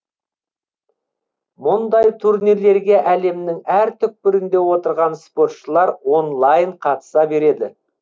мұндай турнирлерге әлемнің әр түкпірінде отырған спортшылар онлайн қатыса береді